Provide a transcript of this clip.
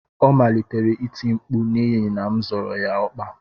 Ọ malitere iti mkpu n'ihi na m zọrọ ya ọkpa